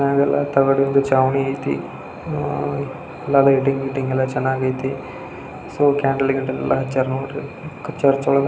ಮೇಲೆಲ್ಲಾ ತಗಡದು ಛಾವಣಿ ಐತೆ. ಅಹ್ ಅಹ್ ಎಲ್ಲ ಲೈಟಿಂಗ್ ಗಿಟಿಂಗ್ ಎಲ್ಲ ಚೆನ್ನಾಗಿ ಐತೆ. ಸೊ ಕ್ಯಾಂಡಲ್ ಎಲ್ಲ ಹಚ್ಚ್ಚರ ನೋಡ್ರಿ ಚರ್ಚ್ ಒಳಗೆ --